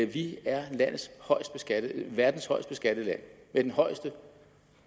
vi er verdens højest beskattede land